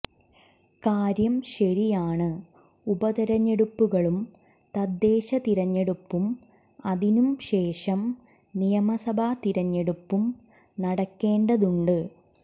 കാര്യം ശരിയാണ് ഉപ തെരഞ്ഞെടുപ്പുകളും തദ്ദേശ തിരഞ്ഞെടുപ്പും അതിനും ശേഷം നിയമസഭ തിരഞ്ഞെടുപ്പും നടക്കേണ്ടതുണ്ട്